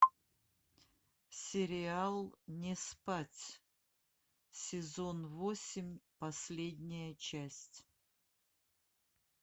сериал не спать сезон восемь последняя часть